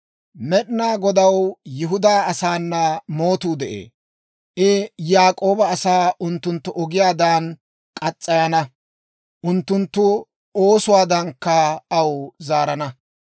Med'inaa Godaw Yihudaa asaana mootuu de'ee; I Yaak'ooba asaa unttunttu ogiyaadan murana; unttunttu oosuwaadankka aw zaarana.